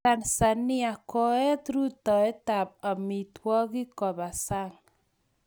Tanzania kooet rutoitab amitwogik koba Sang.